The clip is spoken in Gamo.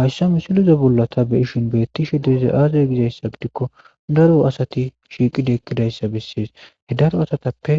hayssa misilize bollata be ishin bettishe deeze aazaya gizayssa gidikko daro asati shiiqidi ekkidayssa bessees he daro asatappe